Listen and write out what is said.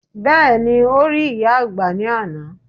Bẹ́ẹ̀ni, o rí ìyá àgbà ní àná